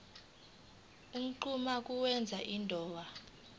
unquma ukwenza indawo